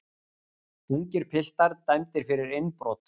Ungir piltar dæmdir fyrir innbrot